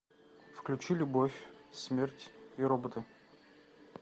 включи любовь смерть и роботы